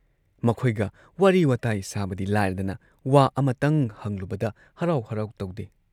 ꯃꯈꯣꯏꯒ ꯋꯥꯔꯤ ꯋꯥꯇꯥꯏ ꯁꯥꯕꯗꯤ ꯂꯥꯏꯔꯗꯅ ꯋꯥ ꯑꯃꯇꯪ ꯍꯪꯂꯨꯕꯗ ꯍꯔꯥꯎ ꯍꯔꯥꯎ ꯇꯧꯗꯦ ꯫